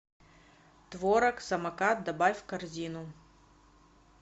творог самокат добавь в корзину